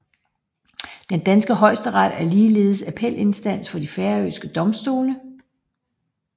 Den danske Højesteret er ligeledes appelinstans for de færøske domstole